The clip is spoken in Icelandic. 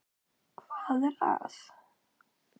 . hvað er að.